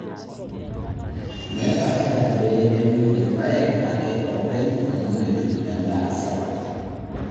Meeta haja pee euni rpayek ake oopeny amuu metum endaa sapuk.